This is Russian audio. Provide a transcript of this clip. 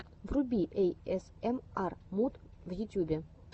вруби эйэсэмар муд в ютубе